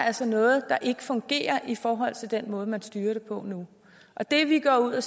altså noget der ikke fungerer i forhold til den måde man styrer det på nu det vi går ud og